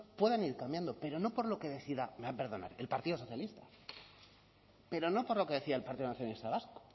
puedan ir cambiando pero no por lo que decida me va a perdonar el partido socialista pero no por lo que decida el partido nacionalista vasco